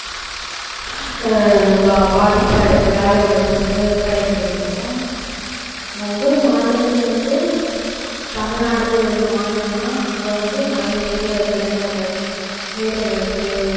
ஆஹ் பா~ பாதிப்பா இருக்கு வேலைவாய்ப்பு வந்து கிடைக்கிறது இப்போ ஒவ்வொரு மாநிலத்துலேயும் வந்து தமிழ்நாடு ஒரு மாநிலம்னா அங்க வந்து நிறைய வேலைவாய்ப்பு இளைஞர்கள் வேலைவாய்ப்பு